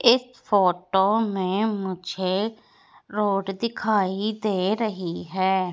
इस फोटो में मुझे रोड दिखाई दे रहीं हैं।